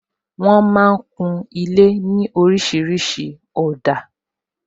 Wọn máa ń kun ilé ní orísìírísìí òdà